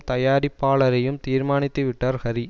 தயாரிப்பாளரையும் தீர்மானித்துவிட்டார் ஹரி